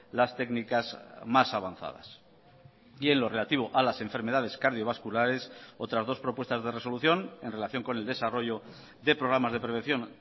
las técnicas más avanzadas y en lo relativo a las enfermedades cardiovasculares otras dos propuestas de resolución en relación con el desarrollo de programas de prevención